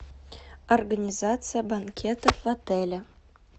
организация банкетов в отеле